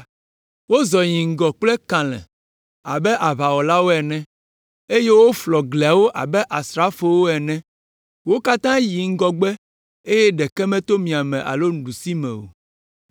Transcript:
Wozɔ yi ŋgɔ kple kalẽ abe aʋawɔlawo ene eye woflɔ gliawo abe asrafowo ene. Wo katã yi ŋgɔgbe eye ɖeke meto miame alo ɖusime o.